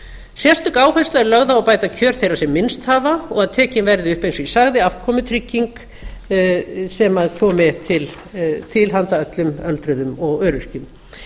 sérstök ástæða er til að bæta kjör þeirra sem minnst hafa og að tekin verði upp eins og ég sagði afkomutrygging sem komi til handa öllum öldruðum og öryrkjum